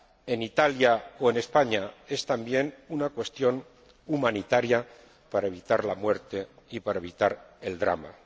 en Italia o en España, es también una cuestión humanitaria para evitar la muerte y para evitar el drama.